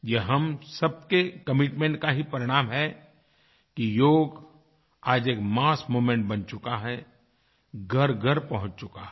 यह हम सबके कमिटमेंट का ही परिणाम है कि योग आज एक मस्स मूवमेंट बन चुका है घरघर पहुँच चुका है